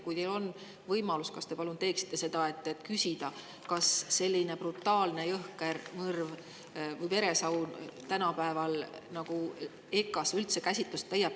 Kui teil võimalus, kas te palun teeksite seda ja küsiksite, kas selline brutaalne, jõhker mõrv või veresaun tänapäeval EKA‑s üldse käsitlust leiab?